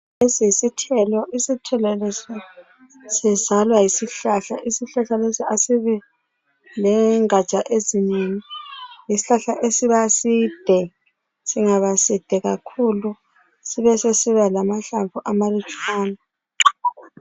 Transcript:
Lesi yisithelo. Isithelo lesi sizalwa yisihlahla. Isihlahla lesi asibi lengatsha ezinengi. Yisihlahla esiba side, singaba side kakhulu sibe sesisibalamahlamvu amalutshwana.